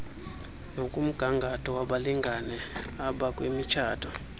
nokmgangatho wabalingane abakwimitshato